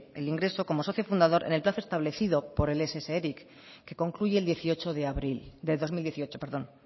el ingreso como socio fundador en el plazo establecido por el ess eric que concluye el dieciocho de abril en dos mil dieciocho perdón